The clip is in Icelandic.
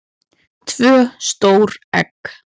tvö stór egg